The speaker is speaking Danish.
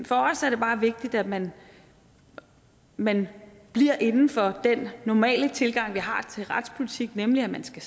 for os er det bare vigtigt at man man bliver inden for den normale tilgang vi har til retspolitik nemlig at man skal